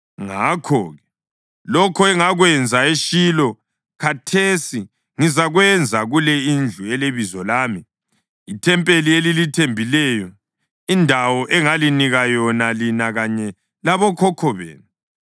Ngakho-ke, lokho engakwenza eShilo khathesi ngizakwenza kule indlu eleBizo lami, ithempeli elilithembileyo, indawo engalinika yona lina kanye labokhokho benu.